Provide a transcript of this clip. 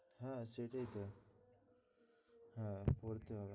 হ্যাঁ সেটাই তো। হ্যাঁ বলছিলাম।